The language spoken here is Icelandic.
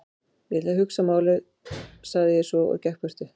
Ég ætla að hugsa málið sagði ég svo og gekk í burtu.